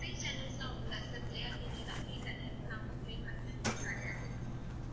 free channels லாம் உண்டா sir Jaya TV எல்லாம் free தான இதுக்கெல்லாம் amount லாம் pay பண்ண வேண்டியதே கிடையாது